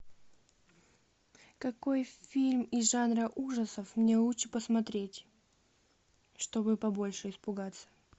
какой фильм из жанра ужасов мне лучше посмотреть чтобы побольше испугаться